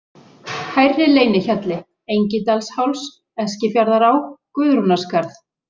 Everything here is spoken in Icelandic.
Hærri-Leynihjalli, Engidalsháls, Eskifjarðará, Guðrúnarskarð